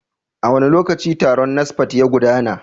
A wane lokaci taron NASFAT ya gudana?